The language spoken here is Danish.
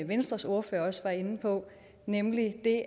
venstres ordfører også var inde på nemlig at det